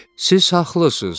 Siz haqlısınız.